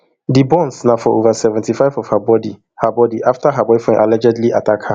di burns na for over seventy-five of her body her body afta her boyfriend allegedly attack her